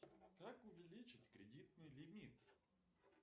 как увеличить кредитный лимит